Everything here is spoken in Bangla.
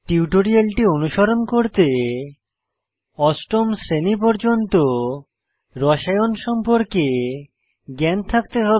টিউটোরিয়ালটি অনুসরণ করতে অষ্টম শ্রেণী পর্যন্ত রসায়ন কেমেস্ট্রি সম্পর্কে জ্ঞান থাকতে হবে